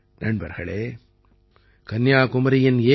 நண்பர்களே கன்னியாகுமாரியின் ஏ